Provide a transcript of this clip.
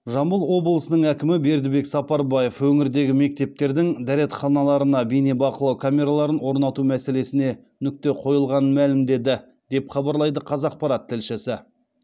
жамбыл обылысының әкімі бердібек сапарбаев өңірдегі мектептердің дәретханаларына бейнебақылау камераларын орнату мәселесіне нүкте қойылғанын мәлімдеді деп хабарлайды қазақпарат тілшісі